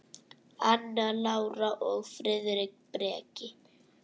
Anna Lára og Friðrik Breki.